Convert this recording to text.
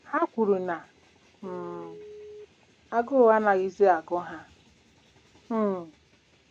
Ha kwuru na um agụụ anaghịzi agụ ha. um